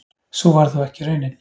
Sú varð þó ekki raunin.